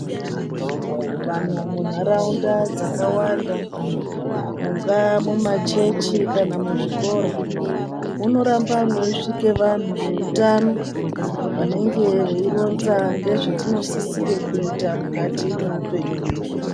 Vanhu munharaunda dzakawanda mungaa mumachechi kana muzvikora, munoramba mweisvike vanhu veutano vanenge veironza ngezvatinosisire kuita mukati mweupenyu hwedu.